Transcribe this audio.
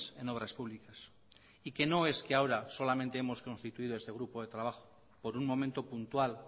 en obras públicas y que no es que ahora solamente hemos constituido este grupo de trabajo por un momento puntual